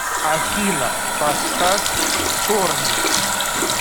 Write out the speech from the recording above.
афина поставь сторми